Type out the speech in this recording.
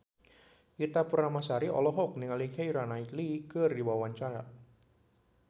Ita Purnamasari olohok ningali Keira Knightley keur diwawancara